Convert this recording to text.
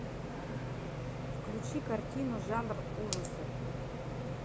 включи картину жанр ужасы